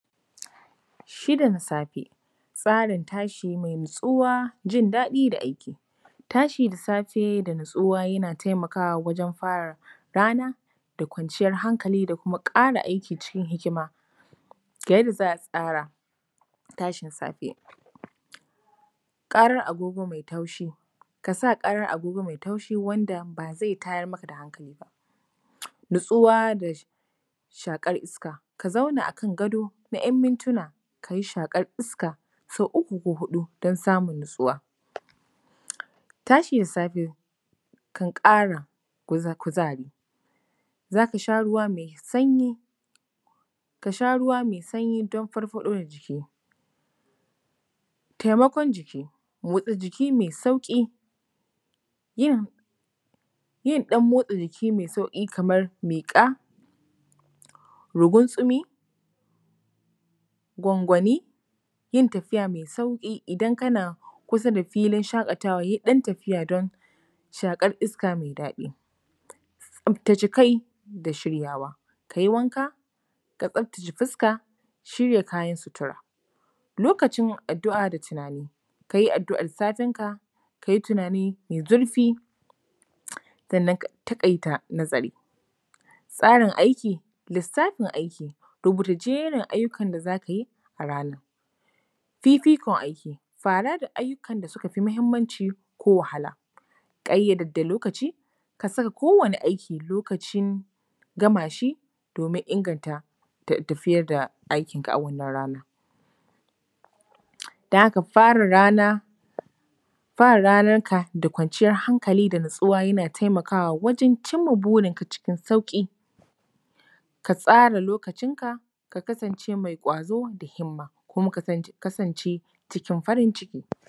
Shida na safe. Tsarin tashi mai natsuwa, jin daɗi da aiki. Tashi da safe da natsuwa yana taimakawa wajen fara rana da kwanciyar hankali da kuma ƙara aiki cikin hikima. Ga yadda za a tsara tashin safe: ƙarar agogo mai taushi:- ka sa agog ƙarar agogo mai taushi wanda ba zai tayar maka da hankali ba. Natsuwa da shaƙar iska:- ka zauna a kan gado na ‘yan mintuna, ka yi shaƙar iska sau uku, ko sau huɗu don samun natsuwa. Tashin safe kan ƙara kuzari. Za ka sha ruwa mai sanyi:- ka sha ruwa mai sanyi don farfaɗo da jiki. Taimakon jiki:- motsa jiki mai sauƙi. Yin yin ɗan motsa jiki mai sauƙi kamar miƙa, ruguntsumi, gwangwani, yin tafiya mai sauƙi. Idan kana kusa da filin shaƙatawa, yi ɗan tafiya don shaƙar iska mai daɗi. tsaftace kai da shiryawa:- ka yi wanka, ka tsaftace fuska, shirya kayan sutura. Lokacin addu’a da tunani:- ka yi addu’ar satinka, ka yi tunani mai zurfi, sannan ka taƙaita nazari. Tsarin aiki/Lissafin aiki:- rubuta jerin aikin da za ka yi a ranar. Fifikon aiki:- fara da ayyukan da suka fi muhimmanci ko wahala. Ƙayyade lokaci, ka saka kowane aiki, loacin gama shi domin inganta tafiyar da aikinka a wannan rana. Don haka, fara rana, fara ranarka da kwanciyar hankali da natsuwa yana taimakawa wajen cin ma burinka cikin sauƙi. Ka tsara lokacina, ka kasance mai ƙwazo da himma kuma ka kasance cikin farin ciki.